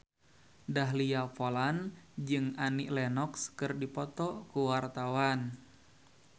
Dahlia Poland jeung Annie Lenox keur dipoto ku wartawan